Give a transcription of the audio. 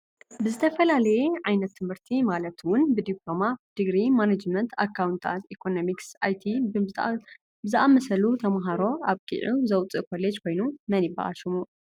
ብዝተፈላለየ ዓይነት ት/ቲ ማለት እውን ብዲፕሎማ ብድግሪ ማናጅመንት ኣካውንታት ኢኮኖሚክስ ኣይቲን ብዝኣመሳሰሉ ተማህሮ ኣብቂዑ ዘውፅእ ኮሌጅ ኮይኑ መን ይብሃል ሽሙ?